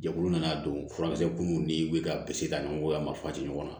Jɛkulu nana don furamisɛnniw ni wili ka ka ɲɔgɔn mafati ɲɔgɔn na